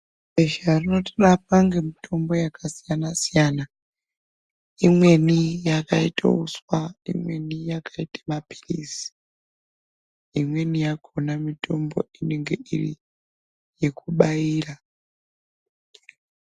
Besha rinotorapwa ngemutombo yakasiyana-siyana. Imweni yakaite uswa, imweni yakaite maphilizi. Imweni yakona mitombo inenge iri yekubaira.